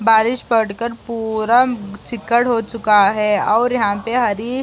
बारिश पड़कर पुरा चिकड़ हो चूका है और यहाँ पर हरी --